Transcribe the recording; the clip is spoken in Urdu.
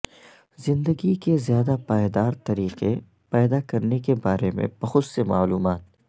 زندگی کے زیادہ پائیدار طریقے پیدا کرنے کے بارے میں بہت سے معلومات